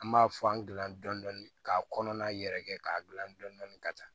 An b'a fɔ an gilan dɔn dɔndɔni k'a kɔnɔna yɛrɛ kɛ k'a dilan dɔɔnin ka taa